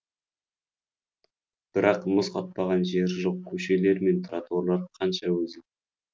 бірақ мұз қатпаған жері жоқ көшелер мен тротуарлар қанша өзі